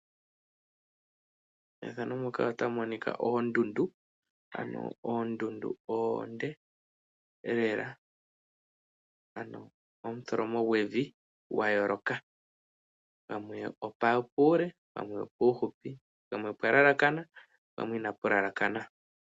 Methano muka otamu monika oondundu ano oondundu oonde lela ano, omutholomo gwevi gwa yooloka. Pwamwe opuule pwamwe opuuhupi, pamwe opwalalakana pwamwe ina pu lalakana.